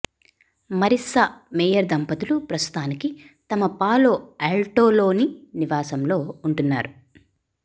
Marissa Mayer దంపతులు ప్రస్తుతానికి తమ పాలో ఆల్టోలోని నివాసంలో ఉంటున్నారు